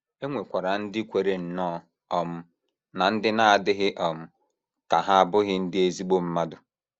E nwekwara ndị kweere nnọọ um na ndị na - adịghị um ka ha abụghị ndị ezigbo mmadụ.